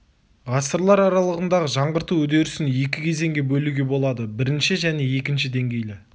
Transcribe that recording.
ғасырлар аралығындағы жаңғырту үдерісін екі кезеңге бөлуге болады бірінші және екінші деңгейлі